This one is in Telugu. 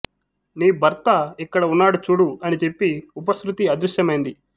నీ భర్త ఇక్కడ ఉన్నాడు చూడు అని చెప్పి ఉపశ్రుతి అదృశ్యమైంది